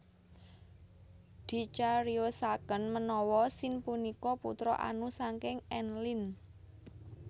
Dicariyosaken menawa Sin punika putra Anu saking Enlil